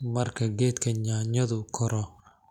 Marka geedka yaanyadu koro,